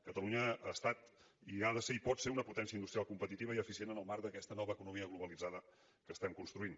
catalunya ha estat i ha de ser i pot ser una potència industrial competitiva i eficient en el marc d’aquesta nova economia globalitzada que estem construint